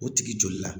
O tigi joli la